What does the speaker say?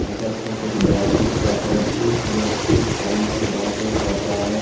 आपस कुछ बात-चीत कर रहे है एक व्यक्ति फोन पर बातें कर रहा है।